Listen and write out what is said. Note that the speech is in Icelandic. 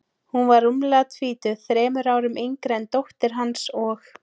Hún var rúmlega tvítug, þremur árum yngri en dóttir hans, og